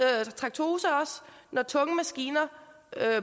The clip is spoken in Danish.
når tunge maskiner